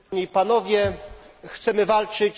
Chcemy walczyć z imigracją.